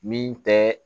Min tɛ